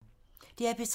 DR P3